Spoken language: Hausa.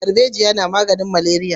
Darbejiya na maganin maleriya